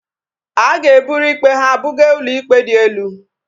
A ga-eburu ikpe ha buga ụlọikpe dị elu